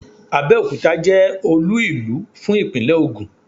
Abẹ́òkuta jẹ́ Olú ìlú fún ìpínlẹ̀ Ògùn